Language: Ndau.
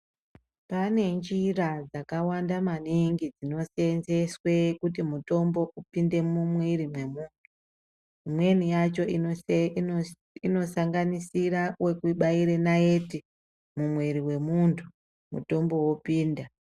Pane njira dzakawanda maningi dzinoseenzeswe kuti mutombo upinde mumwiri mwemuntu imweni yacho inosanganisira wekubaire naiti mumwiri wemuntu mutombo wopinda.